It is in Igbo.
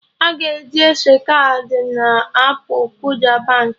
Ị ga-ajụ ese kaadị na appụ Kuda Baankị